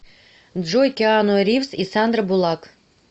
джой киану ривз и сандра булак